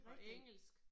Og engelsk